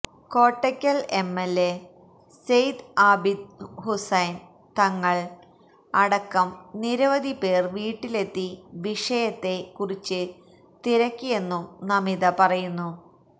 Kottakkal MLA Sayed Abid Hussain Thangal അടക്കം നിരവധി പേര് വീട്ടിലെത്തി വിഷയത്തെ കുറിച്ച് തിരക്കിയെന്നും നമിത പറയുന്നു